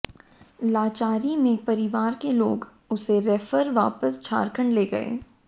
लाचारी में परिवार के लोग उसे रेफर वापस झारखंड ले गए